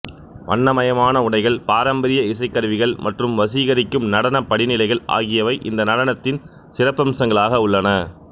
வண்ணமயமான உடைகள் பாரம்பரிய இசைக்கருவிகள் மற்றும் வசீகரிக்கும் நடனப் படிநிலைகள் ஆகியவை இந்த நடனத்தின் சிறப்பம்சங்களாக உள்ளன